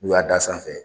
N'u y'a d'a sanfɛ